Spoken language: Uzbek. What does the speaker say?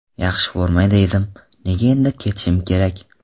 Yaxshi formada edim, nega endi ketishim kerak?